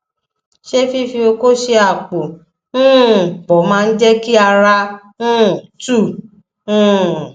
ṣé fífi oko ṣe àpò um pọ máa ń jẹ kí ara um tu um